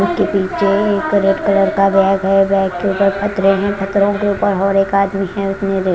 उसके पीछे एक रेड कलर का बैग है बैग के ऊपर पथरे है पथरे के ऊपर के और आदमी है।